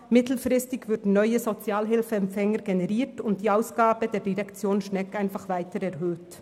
Mittelfristig würden neue Sozialhilfeempfänger generiert, und die Ausgaben der Direktion Schnegg würden weiter erhöht.